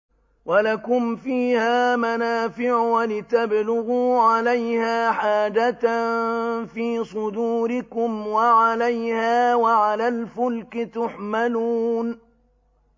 وَلَكُمْ فِيهَا مَنَافِعُ وَلِتَبْلُغُوا عَلَيْهَا حَاجَةً فِي صُدُورِكُمْ وَعَلَيْهَا وَعَلَى الْفُلْكِ تُحْمَلُونَ